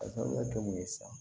Ka sababuya kɛ mun ye sisan